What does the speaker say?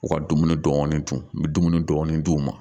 U ka dumuni dɔɔnin dun n bɛ dumuni dɔɔnin d'u ma